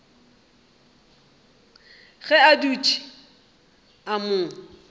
ge a dutše a mo